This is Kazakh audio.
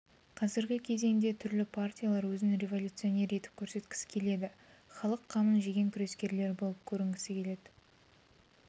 қазіргі кезеңде түрлі партиялар өзін революционер етіп көрсеткісі келеді халық қамын жеген күрескерлер болып көрінгісі келеді